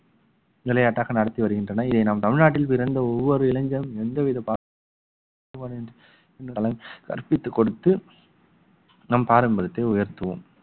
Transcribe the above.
விளையாட்டாக நடத்தி வருகின்றனர் இதை நாம் தமிழ்நாட்டில் பிறந்த ஒவ்வொரு இளைஞனும் எந்த விதப்பாகுபாடு இன்றி கற்பித்துக் கொடுத்து நம் பாரம்பரியத்தை உயர்த்துவோம்